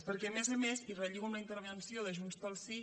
perquè a més a més i relligo amb la intervenció de junts pel sí